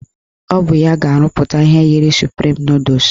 Ọ bụ ya ga-arụpụta ihe yiri suprim nọdụs